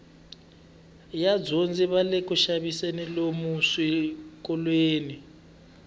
vadyondzi vale kuxaviseni lomu swikolweni